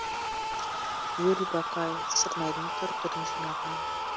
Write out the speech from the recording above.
юрий бакай сырнайдың түр түрін жинаған